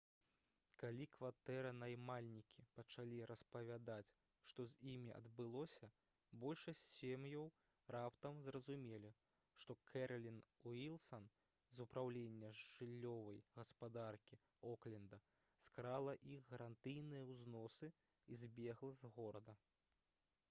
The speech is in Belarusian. калі кватэранаймальнікі пачалі распавядаць што з імі адбылося большасць сем'яў раптам зразумелі што кэралін уілсан з упраўлення жыллёвай гаспадаркі окленда скрала іх гарантыйныя ўзносы і збегла з горада